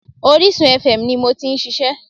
Orísun fm ni mo ti n ṣiṣẹ́